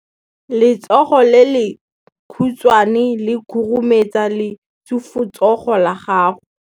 Letsogo le lekhutshwane le khurumetsa lesufutsogo la gago.